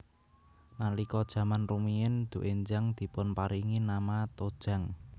Nalika jaman rumiyin doenjang dipunparingi nama tojang